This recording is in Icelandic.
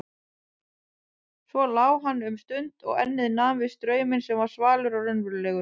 Svo lá hann um stund og ennið nam við strauminn sem var svalur og raunverulegur.